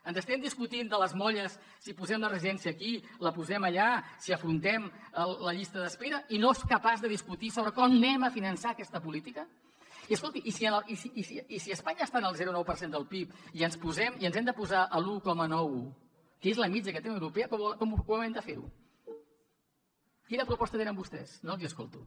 ens estem discutint de les molles si posem la residència aquí la posem allà si afrontem la llista d’espera i no es capaç de discutir sobre com finançarem aquesta política i escolti i si a espanya estan al zero coma nou per cent del pib i ens hem de posar a l’un nou que és la mitjana que té la unió europea com hem de fer ho quina proposta tenen vostès no els l’escolto